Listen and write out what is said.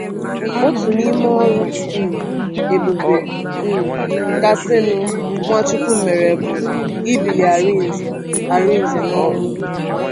Otu n’ime ọrụ um ebube um kasịnụ Nwachukwu mere bụ ibili Arinze Arinze n’ọnwụ.